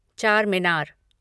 Charminar